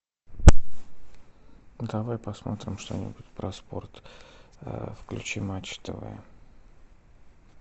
давай посмотрим что нибудь про спорт включи матч тв